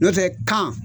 N'o tɛ kan